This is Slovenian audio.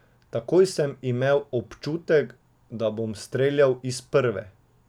Takoj sem imel občutek, da bom streljal iz prve.